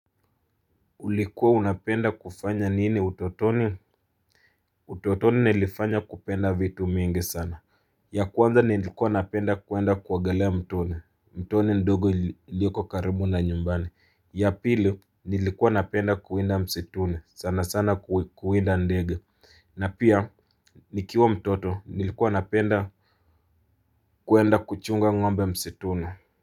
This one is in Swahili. Ulikuwa unapenda kufanya nini utotoni? Utotoni nilifanya kupenda vitu mingi sana. Ya kwanza nilikuwa napenda kuenda kuogelea mtoni. Mtoni ndogo ioliko karibu na nyumbani. Ya pili nilikuwa napenda kuenda msituni. Sana sana kuwinda ndege. Na pia nikiwa mtoto nilikuwa napenda kuenda kuchunga ngombe msituni.